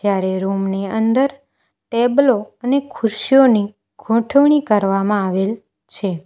અરે રૂમ ની અંદર ટેબલો અને ખુશીઓની ગોઠવણી કરવામાં આવેલ છે.